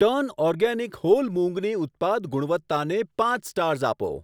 Turn organic whole મુંગની ઉત્પાદ ગુણવત્તાને પાંચ સ્ટાર્સ આપો.